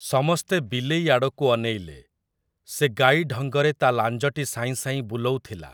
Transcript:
ସମସ୍ତେ ବିଲେଇ ଆଡ଼କୁ ଅନେଇଲେ, ସେ ଗାଈ ଢଙ୍ଗରେ ତା ଲାଞ୍ଜଟି ସାଇଁସାଇଁ ବୁଲଉଥିଲା ।